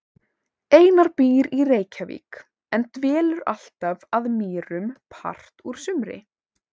Einar býr í Reykjavík en dvelur alltaf að Mýrum part úr sumri.